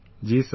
Ji Sir